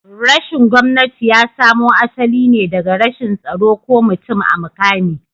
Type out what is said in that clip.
rashin gomnati yasamo asaline daga rashin tsaro ko mutum a mukami